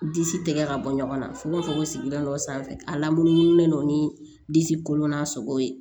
Disi tɛgɛ ka bɔ ɲɔgɔn na fo k'a fɔ ko sigida dɔ sanfɛ a lamunumunulen don ni disi kolon na sogo ye